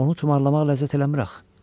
Onu tumarlamaq ləzzət eləmir axı.